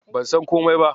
Ban san komai ba.